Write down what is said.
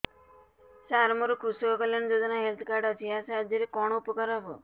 ସାର ମୋର କୃଷକ କଲ୍ୟାଣ ଯୋଜନା ହେଲ୍ଥ କାର୍ଡ ଅଛି ଏହା ସାହାଯ୍ୟ ରେ କଣ ଉପକାର ହବ